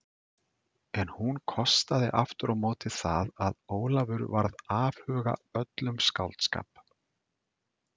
En hún kostaði aftur á móti það að Ólafur varð afhuga öllum skáldskap.